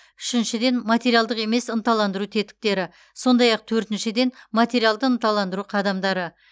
үшіншіден материалдық емес ынталандыру тетіктері сондай ақ төртіншіден материалды ынталандыру қадамдары